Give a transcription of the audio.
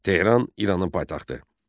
Tehran İranın paytaxtı.